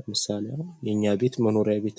ለምሳሌ አሁን የእኛ ቤት መኖሪያ ቤት ነው!